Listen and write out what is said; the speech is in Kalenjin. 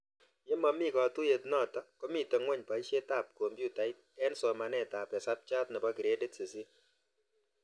Ye mamito katuyet notok komito ng'weny poishet ab kompyutait eng' somanet ab hesabchat nepo gradit 8